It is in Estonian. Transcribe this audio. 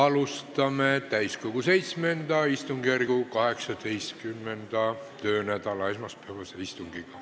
Alustame täiskogu VII istungjärgu 18. töönädala esmaspäevast istungit.